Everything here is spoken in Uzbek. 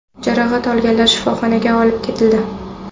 Jarohat olganlar shifoxonaga olib ketildi.